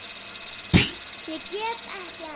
Ég get ekki annað.